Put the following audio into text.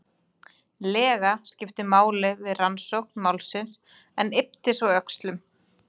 lega skipt máli við rannsókn málsins en yppti svo öxlum.